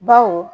Baw